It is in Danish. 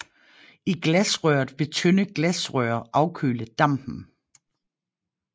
I glasrøret vil tynde glasrør afkøle dampen